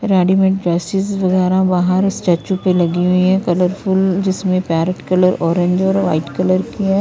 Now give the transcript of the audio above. Readymade वगैरा बाहर statue पे लगी हुई है कलरफुल जिसमें पैरोट कलर ऑरेंज और वाइट कलर की हैं ।